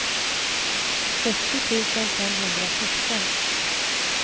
sextio tusen femhundrasexton